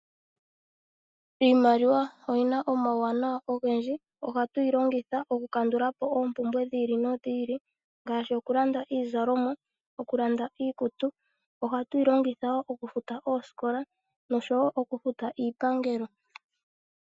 Iimaliwa oyina omauwanawa ogendji ohatu yi longitha okukandula po oompumbwe dhi ili nodhi ili, ngaashi okulanda iizalomwa, okulanda iikutu, ohatu yi longitha wo okufuta oosikola nosho wo okufuta iipangelo.